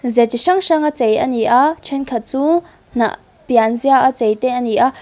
ze chi hrang hranga chei a ni a ṭhen khat chu hnah pianziaa chei te a ni a.